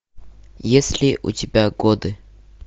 есть ли у тебя годы